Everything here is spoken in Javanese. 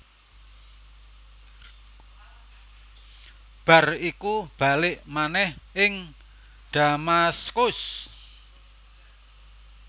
Bar iku balik manèh ing Damaskus